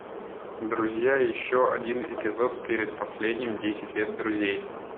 друзья еще один эпизод перед последним десять лет друзей